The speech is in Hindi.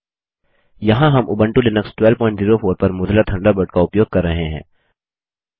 यहाँ हम उबंटू लिनक्स 1204 पर मोज़िला थंडरबर्ड का उपयोग कर रहे हैं